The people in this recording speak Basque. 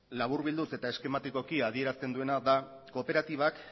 laburbilduz eta eskematikoki adierazten duena da kooperatibak